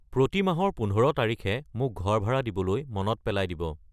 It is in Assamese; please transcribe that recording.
প্ৰতি মাহৰ ১৫ তাৰিখে মোক ঘৰ ভাড়া দিবলৈ মনত পেলাই দিব।